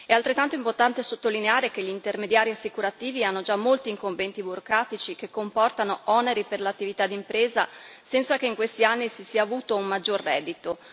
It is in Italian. È altrettanto importante sottolineare che gli intermediari assicurativi hanno già molte incombenze burocratiche che comportano oneri per l'attività d'impresa, senza che in questi anni si si avuto un maggior reddito.